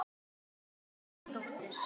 Þín ástkæra dóttir.